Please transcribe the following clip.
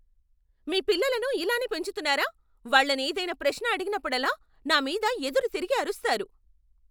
మీ పిల్లలను ఇలానే పెంచుతున్నారా? వాళ్ళను ఏదైనా ప్రశ్న అడిగినప్పుడల్లా నా మీద ఎదురు తిరిగి అరుస్తారు.